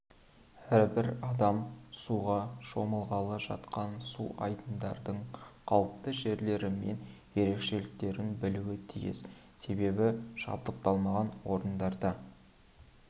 әрбір адам суға шомылғалы жатқан су айдындардың қауіпті жерлері мен ерекшеліктерін білуі тиіс себебі жабдықталмаған орындарда